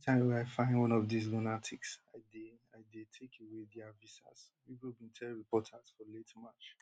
evri time wey i find one of dis lunatics i dey i dey take away dia visas rubio bin tell reporters for late march